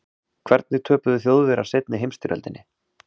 Hvernig töpuðu Þjóðverjar seinni heimsstyrjöldinni?